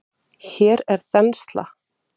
Hér er þensla.